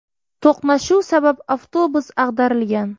To‘qnashuv sabab avtobus ag‘darilgan.